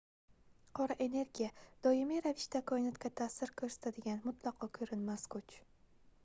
qora energiya doimiy ravishda koinotga taʼsir koʻrsatadigan mutlaqo koʻrinmas kuch